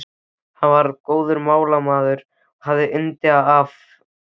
Hann var góður málamaður og hafði yndi af öllum fróðleik.